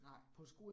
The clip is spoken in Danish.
Nej